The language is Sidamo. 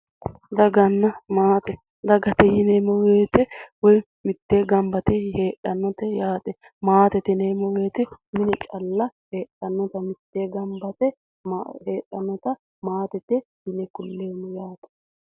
daganna maate dagate yineemmowoyite mittee gamba yite heedhannote yaate maatete yineemmowoyite mine calla heedhannote mittee gamba yite heedhaata maatete yineemmo.